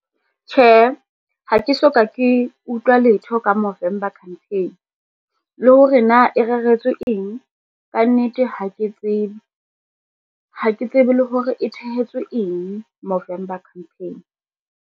Tjhe, ha ke soka ke utlwa letho ka Movember campaign, le hore na e reretswe eng, kannete ha ke tsebe. Ha ke tsebe le hore e tshehetswe eng Movember campaign.